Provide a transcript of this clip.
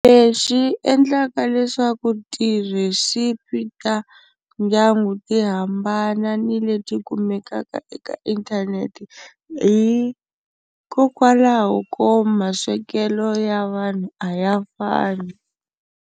Lexi endlaka leswaku ti-recipe ta ndyangu ti hambana ni leti kumekaka eka inthanete hikokwalaho ko maswekelo ya vanhu a ya fani.